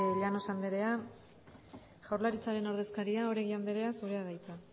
llanos anderea jaurlaritzaren ordezkaria oregi anderea zurea da hitza